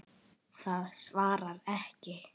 Það svarar ekki.